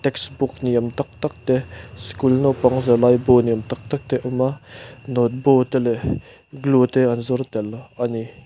textbook ni awm tak tak te school naupang zirlai bu ni awm tak tak te a awm a note bu te leh glue te an zuar tel a ni.